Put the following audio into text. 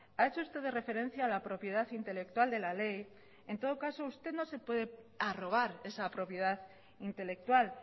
ha hecho usted de referencia a la propiedad intelectual de la ley en todo caso usted no se puede arrogar esa propiedad intelectual